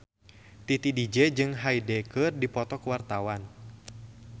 Titi DJ jeung Hyde keur dipoto ku wartawan